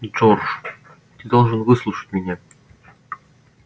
джордж ты должен выслушать меня